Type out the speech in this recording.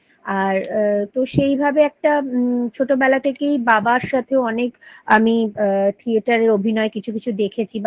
আর তো সেইভাবে একটা ম ছোটবেলা থেকেই বাবার সাথেও অনেক আমি আ থিয়েটারের অভিনয় কিছু কিছু দেখেছি